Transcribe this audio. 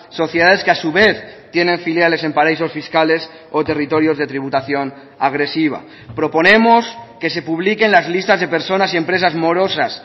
sociedades que a su vez tienen filiales en paraísos fiscales o territorios de tributación agresiva proponemos que se publiquen las listas de personas y empresas morosas